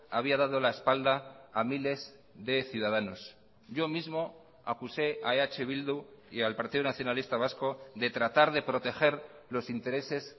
había dado la espalda a miles de ciudadanos yo mismo acuse a eh bildu y al partido nacionalista vasco de tratar de proteger los intereses